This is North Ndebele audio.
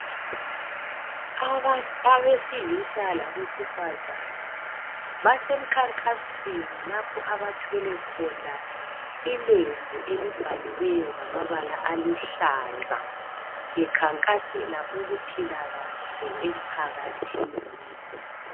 Abesilisa labesifazana basemkhankasweni lapho abathwele khona ilembu elibhaliweyo ngamabala aluhlaza bekhankasela ukuphila kahle emphakathini.